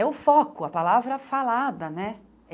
É o foco, a palavra falada, né?